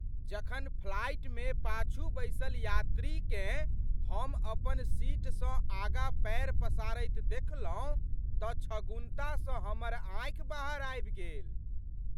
जखन फ्लाइटमे पाछू बैसल यात्रीकेँ हम अपन सीटसँ आगाँ पैर पसारैत देखलहुँ तऽ छगुन्तासँ हमर आँखि बाहर आबि गेल।